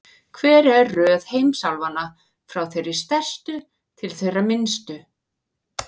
Hver er röð heimsálfanna, frá þeirri stærstu til þeirrar minnstu?